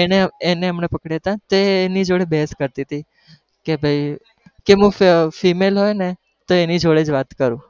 એને એને અમને પકડયા હતા તે એની જોડે બહેસ કરતી હતી, કે ભાઈ કે હું female હોઉ ન તો એની જોડે જ વાત કરું,